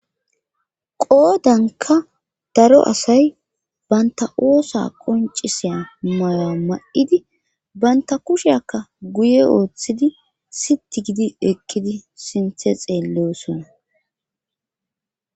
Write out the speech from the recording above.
Qodanka daro asay banta oosa qoncisiya maya ma'idi baynta kusheakka guye ooththidi siti gidi ekkidi sinthe xeelleosona.